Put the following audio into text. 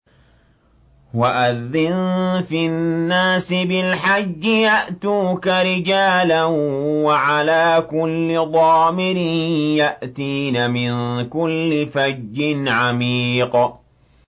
وَأَذِّن فِي النَّاسِ بِالْحَجِّ يَأْتُوكَ رِجَالًا وَعَلَىٰ كُلِّ ضَامِرٍ يَأْتِينَ مِن كُلِّ فَجٍّ عَمِيقٍ